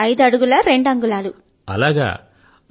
ఐదు అడుగుల రెండు అంగుళాలు ఉంటాను